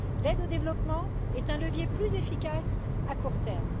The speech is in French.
L'aide au développement est un levier plus efficace à court terme.